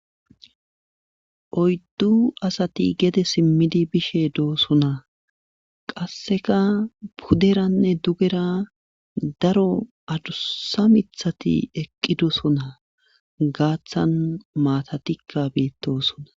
oyddu asati gede simmidi bishe doosona qasseka puderanne dugera daro adussa mithati eqqi dosonaa gaaththan maatatikka beettosona